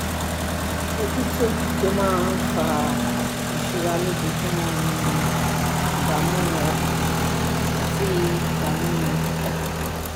Ojútùú tó máa ń fa ìsunra lójoojúmọ́ ni ìdààmú ọkàn àti ìdààmú ọkàn